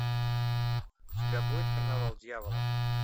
у тебя будет карнавал дьявола